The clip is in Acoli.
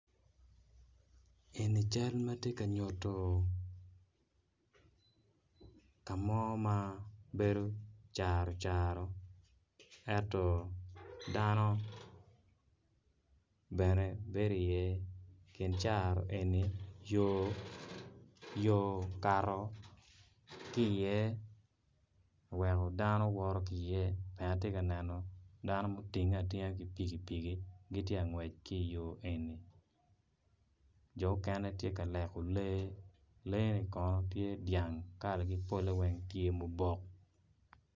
Eni cal ma tye ka nyuto ka mo ma bedo caro caro ento dano bene bedo iye i kin caro eni yo okato ki iye oweko dano woto ki iye bene atye ka neno dano ma otinge atinga ki pikipiki gitye ka ngwec ki iyo eni jo okene tye ka leko lee leeni kono tye dyang kalagi polle weng tye ma obok.